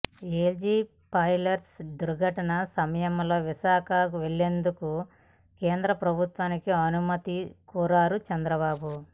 LG polymers దుర్ఘటన సమయంలో విశాఖ వెళ్లేందుకు కేంద్ర ప్రభుత్వాన్ని అనుమతి కోరారు చంద్రబాబు